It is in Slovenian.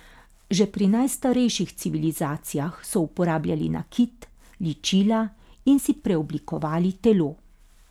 Že pri najstarejših civilizacijah so uporabljali nakit, ličila in si preoblikovali telo.